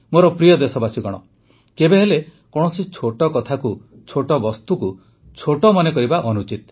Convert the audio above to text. ମୋର ପ୍ରିୟ ଦେଶବାସୀଗଣ କେବେହେଲେ କୌଣସି ଛୋଟ କଥାକୁ ଛୋଟ ବସ୍ତୁକୁ ଛୋଟ ମନେକରିବା ଅନୁଚିତ